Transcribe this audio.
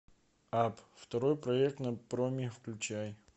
апп второй проект на проме включай